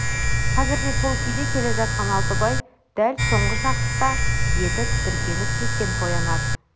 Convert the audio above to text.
қазірде сол күйде келе жатқан алтыбай дәл соңғы шақта еті тітіркеніп сескеніп оянады